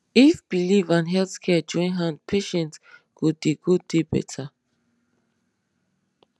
if belief and health care join hand patients go dey go dey better